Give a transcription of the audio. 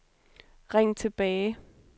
ring tilbage